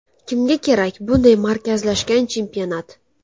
Kimga kerak bunday markazlashgan chempionat?